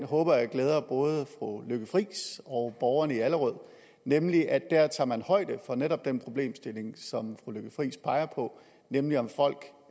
håber jeg glæder både fru lykke friis og borgerne i allerød nemlig at der tager man højde for netop den problemstilling som fru lykke friis peger på nemlig om folk